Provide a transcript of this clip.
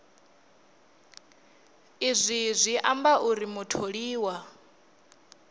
izwi zwi amba uri mutholiwa